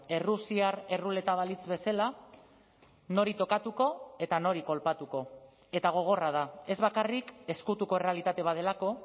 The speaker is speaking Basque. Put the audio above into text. errusiar erruleta balitz bezala nori tokatuko eta nori kolpatuko eta gogorra da ez bakarrik ezkutuko errealitate bat delako